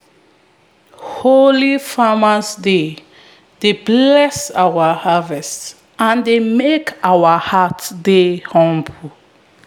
holy farming days dey bless our harvest and dey make our hearts dey humble.